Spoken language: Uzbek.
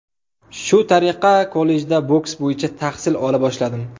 Shu tariqa kollejda boks bo‘yicha tahsil ola boshladim.